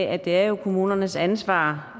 at det er kommunernes ansvar